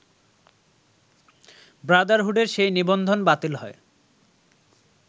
ব্রাদারহুডের সেই নিবন্ধন বাতিল হয়